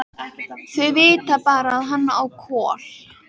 Þau vita bara að hann á Kol.